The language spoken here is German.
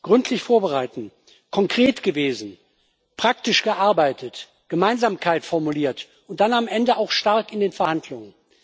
Gründlich vorbereitet, konkret gewesen, praktisch gearbeitet, Gemeinsamkeit formuliert und dann am Ende auch stark in den Verhandlungen.